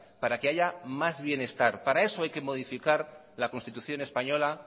para que haya más bienestar para eso hay que modificar la constitución española